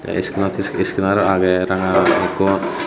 tey iskenar iskenar agey ranga gulukkot.